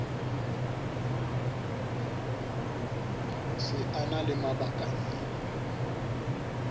se a na le mabakanyana